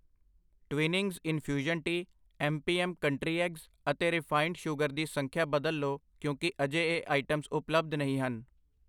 Twinings infusion tea MP M ਕੰਟਰੀਐਕਸ ਅਤੇ refined sugar ਦੀ ਸੰਖਿਆ ਬਦਲ ਲੋ ਕਿਉਂਕਿ ਅਜੇ ਇਹ ਆਈਟਮ ਉਪਲੱਬਧ ਨਹੀਂ ਹਨ I